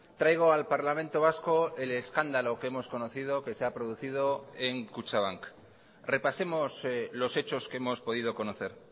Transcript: traigo al parlamento vasco el escándalo que hemos conocido que se ha producido en kutxabank repasemos los hechos que hemos podido conocer